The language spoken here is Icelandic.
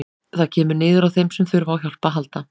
Það kemur niður á þeim sem þurfa á hjálp að halda.